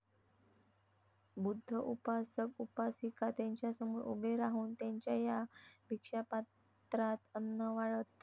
बुद्ध उपासक उपासिका त्यांच्यासमोर उभे राहून त्यांच्या या भीक्षा पात्रात अन्न वाढत